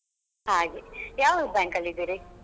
ಹಾಗೆ ಯಾವ bank ಅಲ್ಲಿ ಇದ್ದೀರಿ?